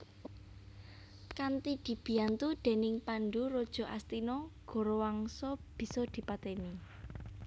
Kanthi dibiyantu dèning Pandhu raja Astina Gorawangsa bisa dipatèni